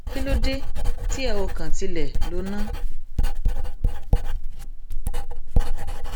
kí ló dé tí ẹ ò kàn tilẹ lò ná